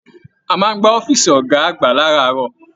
A máa n gbà ọ̀fiísí ọgá àgbà láràárọ̀.